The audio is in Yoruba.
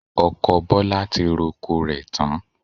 Ọkọ Bọlá ti roko rẹ̀ tán